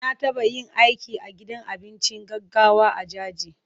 Na taɓa yin aiki a gidan abinci gaggawa a Jaji.